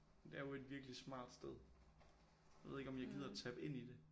Det er jo et virkelig smart sted jeg ved ikke om jeg gider tappe ind i det